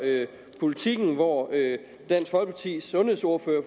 politiken hvor dansk folkepartis sundhedsordfører